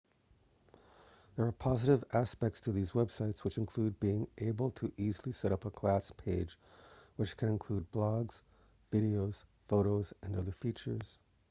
there are positive aspects to these websites which include being able to easily setup a class page which can include blogs videos photos and other features